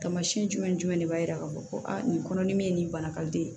Tamasiyɛn jumɛn ni jumɛn de b'a yira k'a fɔ a nin kɔnɔdimi ye nin bana ka di ye